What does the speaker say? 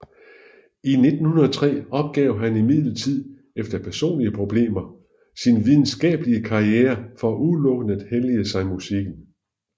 I 1903 opgav han imidlertid efter personlige problemer sin videnskabelige karriere for udelukkende at hellige sig musikken